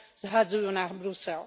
zhadzujú na Brusel.